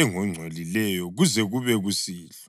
engongcolileyo kuze kube kusihlwa.